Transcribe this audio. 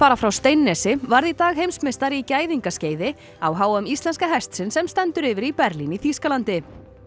frá Steinnesi varð í dag heimsmeistari í gæðingaskeiði á h m íslenska hestsins sem stendur yfir í Berlín í Þýskalandi